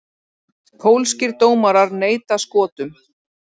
Pólskir dómarar neita Skotum